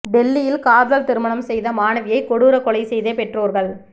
டெல்லியில் காதல் திருமணம் செய்த மாணவியை கொடூர கொலை செய்த பெற்றோர்கள்